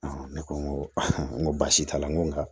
ne ko n ko n ko baasi t'a la n ko nka